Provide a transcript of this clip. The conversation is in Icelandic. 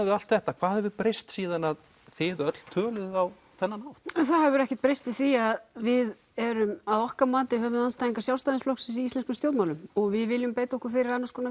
við allt þetta hvað hefur breyst síðan þið öll töluðuð á þennan hátt það hefur ekkert breyst í því að við erum að okkar mati höfuðandstæðingar Sjálfstæðisflokksins í íslenskum stjórnmálum og við viljum beita okkur fyrir annars konar